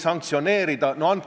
Kuidas te käituksite?